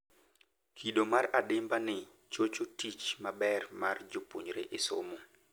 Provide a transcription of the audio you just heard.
Kido mar adimba ni chocho tich maber mar japuonjre e somo